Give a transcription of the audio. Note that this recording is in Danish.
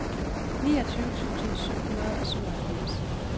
niogtyve tusind syv hundrede og syvoghalvfems